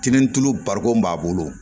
Kinintulu barikon b'a bolo